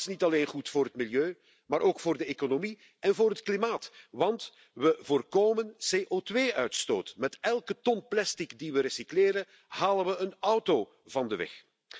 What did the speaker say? Dat is niet alleen goed voor het milieu, maar ook voor de economie en voor het klimaat, want we voorkomen CO2 uitstoot. Met elke ton plastic die we recycleren, halen we een auto van de weg.